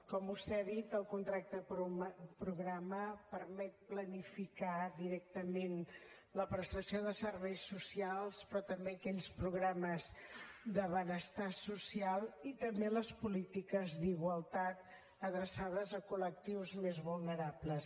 com vostè ha dit el contracte programa permet planificar directament la prestació de serveis socials però també aquells programes de benestar social i també les polítiques d’igualtat adreçades a col·lectius més vulnerables